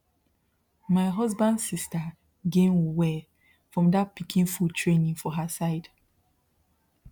my husband sister gain well from that pikin food training for her side